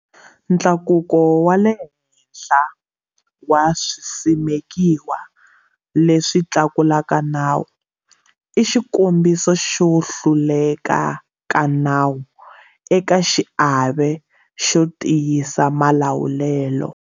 Ntlakuko wa le henhla wa swisimekiwa leswi tlulaka nawu i xikombiso xo hluleka ka nawu eka xiave xo tiyisa malawulelo.